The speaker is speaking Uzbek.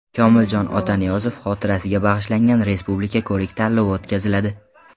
Komiljon Otaniyozov xotirasiga bag‘ishlangan Respublika ko‘rik-tanlovi o‘tkaziladi.